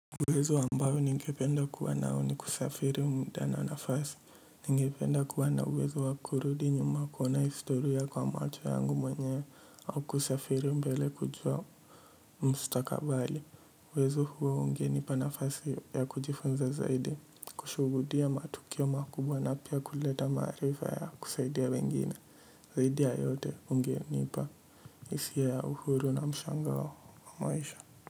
Uwezo ambao ningependa kuwa nao ni kusafiri mda na nafasi, ningependa kuwa na uwezo wa kurudi nyuma kuona historia kwa macho yangu mwenyewe au kusafiri mbele kujua mustakabali. Uwezo huo ungenipa nafasi ya kujifunza zaidi, kushuhudia matukio makubwa na pia kuleta maarifa ya kusaidia wengine, zaidi ya yote ungenipa hisia ya uhuru na mshangao wa maisha.